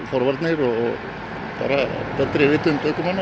forvarnir og betri vitund ökumanna